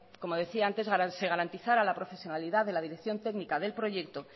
que se garantizara la profesionalidad de la dirección técnica del proyecto